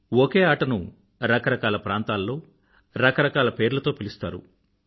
ఒకే ఆటను రకరకాల ప్రాంతాల్లో రకరకాల పేర్లతో పిలుస్తారు